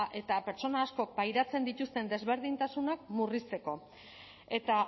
eta pertsona askok pairatzen dituzten desberdintasunak murrizteko eta